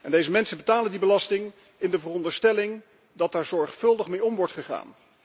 Deze mensen betalen die belasting in de veronderstelling dat er zorgvuldig mee om wordt gegaan.